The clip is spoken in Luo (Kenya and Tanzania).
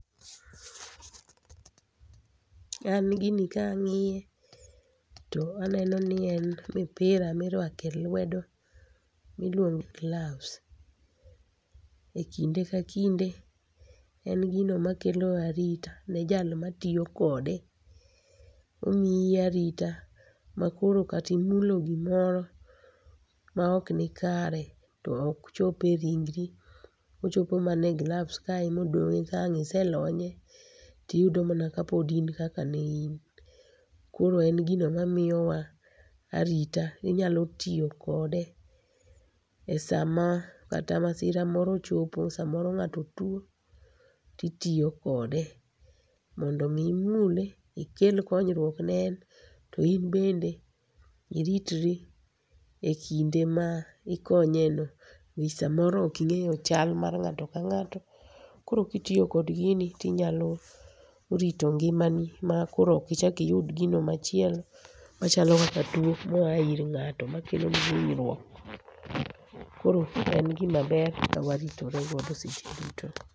An gini ka ang'iye to aneno ni en mpira ma iruako e lwedo miluongo ni gloves. Ekinde ka kinde en gino makelo arita ne jal ma tiyo kode. Omiyi arita makoro kata imulo gimoro maok nikare to ok chop e ringri, ochopo mana e gloves kae ema odong'ie. Ka ang' ise lonye to iyudo mana kapod in kaka ne in. Koro en gino mamiyowa arita. Inyalo tiyo kode esama kata masira moro ochopo samoro ng'ato tuo to itiyo kode, mondo mi imule ikel konyruok ne en to in bende iritri ekinde ma ikonyeno nikech samoro ok ing'e chal mar ng'ato ka ng'ato, koro ka tiyo kod gini to inyalo rito ngimani makoro ok ichak iyud gino machielo machalo kaka tuo ma a ir nga'ato makelo niji hinyruok. Koro en gima ber kawaritore godo seche.